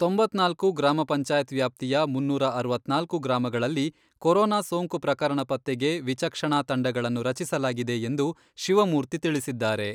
ತೊಂಬತ್ನಾಲ್ಕು ಗ್ರಾಮ ಪಂಚಾಯತ್ ವ್ಯಾಪ್ತಿಯ ಮುನ್ನೂರ ಅರವತ್ನಾಲ್ಕು ಗ್ರಾಮಗಳಲ್ಲಿ ಕೊರೊನಾ ಸೋಂಕು ಪ್ರಕರಣ ಪತ್ತೆಗೆ ವಿಚಕ್ಷಣಾ ತಂಡಗಳನ್ನು ರಚಿಸಲಾಗಿದೆ ಎಂದು ಶಿವಮೂರ್ತಿ ತಿಳಿಸಿದ್ದಾರೆ.